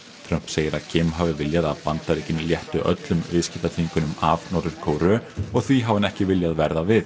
Trump segir að hafi viljað að Bandaríkin léttu öllum viðskiptaþvingunum af Norður Kóreu og því hafi hann ekki viljað verða við